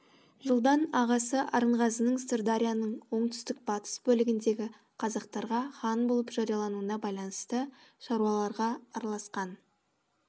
жылдан ағасы арынғазының сырдарияның оңтүстік батыс бөлігіндегі қазақтарға хан болып жариялануына байланысты шаруаларға араласқан